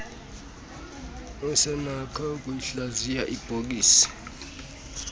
usenakho noyikuhlaziya ibhokisi